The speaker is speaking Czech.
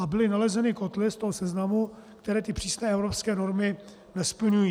A byly nalezeny kotle z toho seznamu, které ty přísné evropské normy nesplňují.